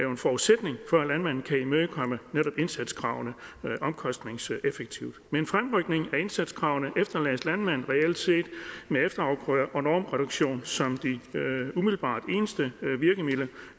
og at landmanden kan imødekomme netop indsatskravene omkostningseffektivt med en fremrykning af indsatskravene efterlades landmanden reelt set med efterafgrøder og normreduktion som de umiddelbart eneste virkemidler